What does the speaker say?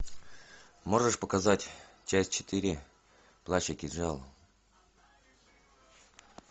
можешь показать часть четыре плащ и кинжал